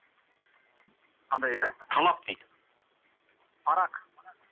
қандай дейді талап дейді парақ